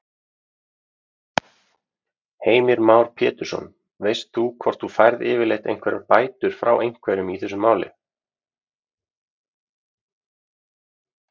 Heimir Már Pétursson: Veistu hvort þú færð yfirleitt einhverjar bætur frá einhverjum í þessu máli?